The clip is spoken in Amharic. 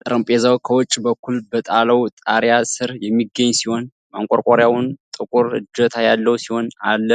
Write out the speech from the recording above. ጠረጴዛው ከውጭ በኩል በጣውላ ጣሪያ ስር የሚገኝ ሲሆን፣ ማንቆርቆሪያው ጥቁር እጀታ ያለው ሲሆን፣ አለ።